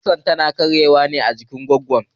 kusar tana karye wa ajikin bango